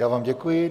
Já vám děkuji.